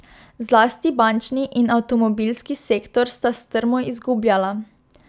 Zlasti bančni in avtomobilski sektor sta strmo izgubljala.